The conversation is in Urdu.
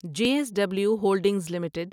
J S W holdings limited